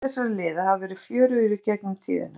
Leikir þessara liða hafa verið fjörugir í gegnum tíðina.